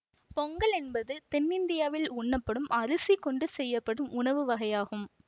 பொங்கல் என்பது தென்னிந்தியாவில் உண்ணப்படும் அரிசி கொண்டு செய்யப்படும் உணவு வகையாகும்